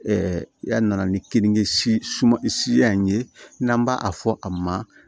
ya na ni kenige siman si y'an ye n'an b'a fɔ a ma